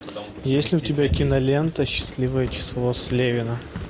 есть ли у тебя кинолента счастливое число слевина